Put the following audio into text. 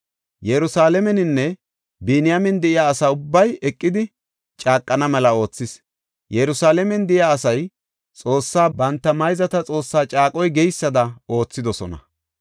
Yerusalaameninne Biniyaamen de7iya asa ubbay eqidi caaqana mela oothis; Yerusalaamen de7iya asay Xoossaa, banta mayzata Xoossaa caaqoy geysada oothidosona.